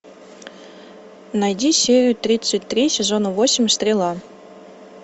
найди серию тридцать три сезона восемь стрела